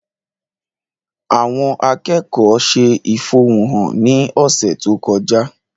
Àwọn akẹ́kọ̀ọ́ ṣe ìfẹ̀hónúhàn ní ọ̀sẹ̀ tó kọjá